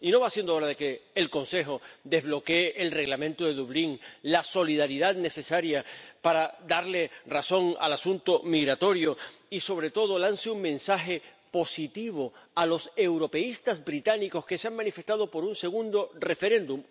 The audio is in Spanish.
¿No va siendo hora de que el Consejo desbloquee el Reglamento de Dublín, la solidaridad necesaria para darle razón al asunto migratorio, y sobre todo de que lance un mensaje positivo a los europeístas británicos que se han manifestado por un segundo referéndum?